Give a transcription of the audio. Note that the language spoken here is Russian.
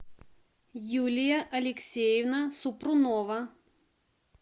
юлия алексеевна супрунова